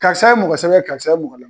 Karisa ye mɔgɔsɛbɛ ye karisa ye mɔgɔ la